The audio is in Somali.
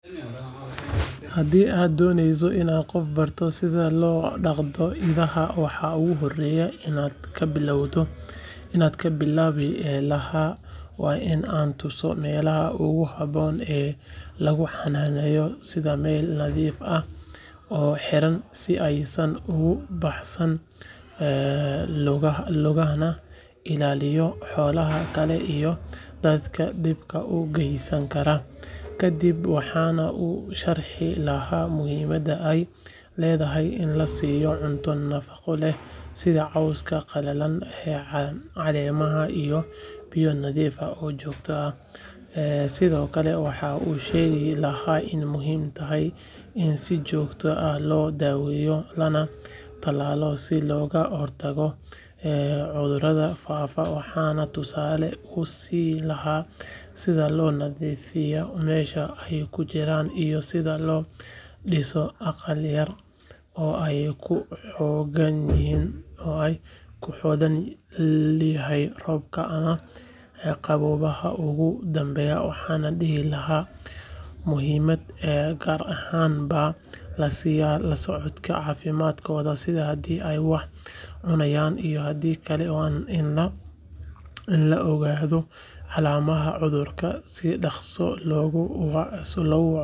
Hadi aad doneyso inad gof barto sidha lodagdo idaha wax oguhoreya inad kabilabi laha wa in an tuso melaha oguhaboon ee laguhananeyo sidha mel nadiif ah, oo hiraan si aysan ugubahsan ee lugahana ilaliyo xoolaha kale iyo dadka dibka ugeusanakara, kadib waxana usharci laha muxiimada ay ledahay in lasiyo cunto nafago leh ,sidha cooska qalalen calemaha iyo biyo nadiif ah oo jogto ah, sidhokale waxa ishegi lahay in muxii tahay in si jogto ah lodaweyo lanatalalo si logahortago cudurada faafa, waxana tusale usin laha sidha lonadifiyo mesha ay kujiraan iyo sidha lodiso aqal yar oo ay kuhogan yixiin robka ama qabobaha ogudambeya, waxana dihi laha muxiimad ay gaar ahan ba lasiyaa lasocofka cafimadka sidha hadhi ay wax cunayan iyo hadhii kale wa in laogado hadhi calamaha cudurka si dagso logu.